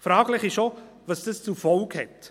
Fraglich ist auch, was das zur Folge hat.